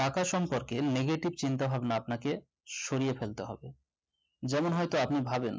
টাকা সম্পর্কে নেগেটিভ চিন্তাভাবনা আপনাকে সরিয়ে ফেলতে হবে। যেমন হয়তো আপনি ভাবেন